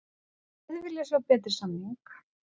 Hefði viljað sjá betri samning